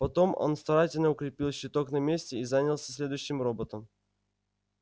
потом он старательно укрепил щиток на месте и занялся следующим роботом